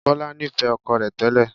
Bọlá nifẹ ọkọ rẹ tẹ́lẹ̀